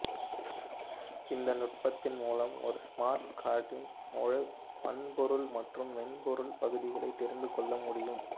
இந்த நுட்பத்தின் மூலம் ஒரு ஸ்மார்ட் கார்டின் முழு வன்பொருள் மற்றும் மென்பொருள் பகுதிகளைத் தெரிந்துகொள்ள முடியும்